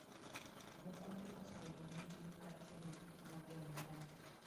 Mukwege oseyudo mich ni kaachiel gi Nadia Murad.